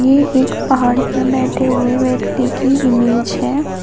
ये एक पहाड़ पर बैठे हुए व्यक्ति की इमेज है।